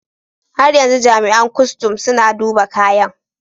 Har yanzu jami'an kustum suna duba kayan.